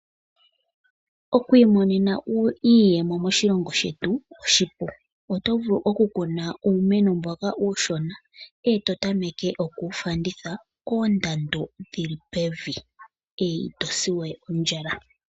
Okwiimonena iiyemo moshilongo shetu oshipu, oto vulu oku kuna uumeno mboka uushona eto tameke oku wu fanditha koondando dhili pevi, ito si we ondjala.